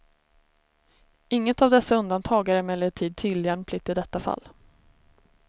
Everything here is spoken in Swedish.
Inget av dessa undantag är emellertid tillämpligt i detta fall.